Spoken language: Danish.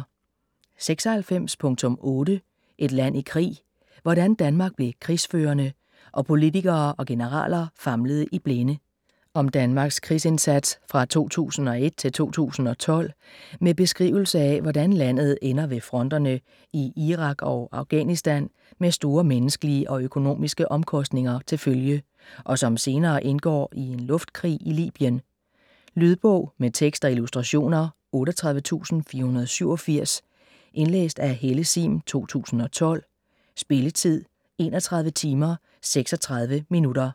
96.8 Et land i krig: hvordan Danmark blev krigsførende - og politikere og generaler famlede i blinde Om Danmarks krigsindsats fra 2001 til 2012 med beskrivelse af hvordan landet ender ved fronterne i Irak og Afghanistan med store menneskelige og økonomiske omkostninger til følge, og som senere indgår i en luftkrig i Libyen. Lydbog med tekst og illustrationer 38487 Indlæst af Helle Sihm, 2012. Spilletid: 31 timer, 36 minutter.